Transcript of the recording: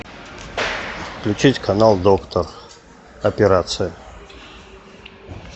включить канал доктор операция